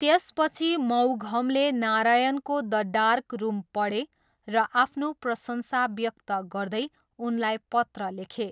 त्यसपछि मौघमले नारायणको 'द डार्क रुम' पढे र आफ्नो प्रशंसा व्यक्त गर्दै उनलाई पत्र लेखे।